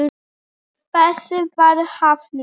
Þessu var hafnað.